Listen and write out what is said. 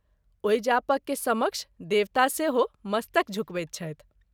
ओहि जापक के सम़क्ष देवता सेहो मस्तक झुकबैत छथि।